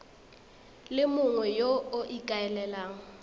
le mongwe yo o ikaelelang